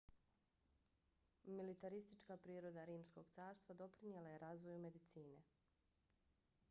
militaristička priroda rimskog carstva doprinijela je razvoju medicine